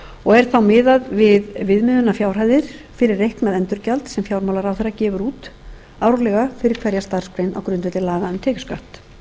og er þá miðað við viðmiðunarfjárhæðir fyrir reiknað endurgjald sem fjármálaráðherra gefur út árlega fyrir hverja starfsgrein á grundvelli laga um tekjuskatt